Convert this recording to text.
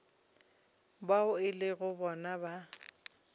bao e lego bona ba